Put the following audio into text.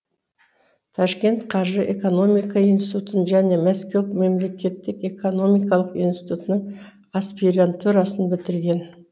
ташкент қаржы экономика институтын және мәскеу мемлекеттік экономикалық институтының аспирантурасын бітірген